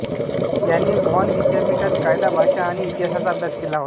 याने बॉन विद्यापीठात कायदा भाषा आणि इतिहासाचा अभ्यास केला होता